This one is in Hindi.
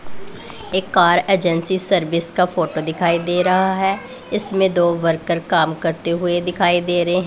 एक कार एजेंसी सर्विस का फोटो दिखाई दे रहा है इसमें दो वर्कर काम करते हुए दिखाई दे रहे हैं--